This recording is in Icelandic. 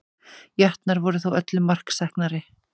Jötnar voru þó öllu marksæknari